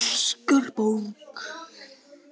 Óskar Borg.